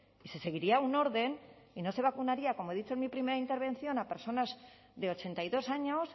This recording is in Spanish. y se seguiría un orden y no se vacunaría como he dicho en mi primera intervención a personas de ochenta y dos años